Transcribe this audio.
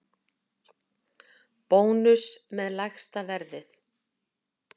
Bónus með lægsta verðið